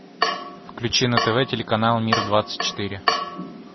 включи на тв телеканал мир двадцать четыре